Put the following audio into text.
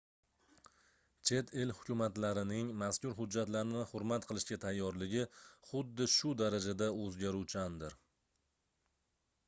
chet el hukumatlarining mazkur hujjatlarni hurmat qilishga tayyorligi xuddi shu darajada oʻzgaruvchandir